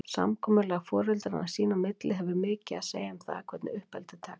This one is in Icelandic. Samkomulag foreldranna sín á milli hefur mikið að segja um það, hvernig uppeldið tekst.